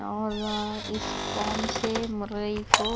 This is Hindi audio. और इस फॉर्म से मुरई को --